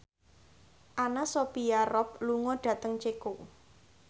Anna Sophia Robb lunga dhateng Ceko